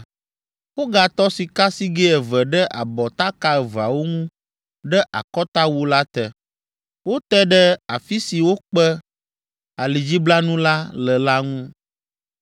Wogatɔ sikasigɛ eve ɖe abɔtaka eveawo ŋu ɖe Akɔtawu la te, wote ɖe afi si wokpe alidziblanu la le la ŋu.